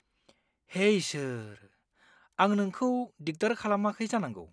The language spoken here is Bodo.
हे इसोर! आं नोंखौ दिगदार खालामाखै जानांगौ।